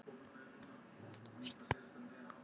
Lóa: Fóruð þið ekki einfaldlega fram úr ykkur?